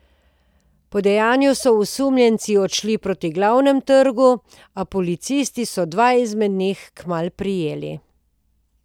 Po dejanju so osumljenci odšli proti Glavnemu trgu, a policisti so dva izmed njih kmalu prijeli.